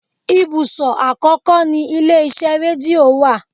Ibùsọ̀ àkọ́kọ́ ni ilé iṣẹ́ rédíò wa.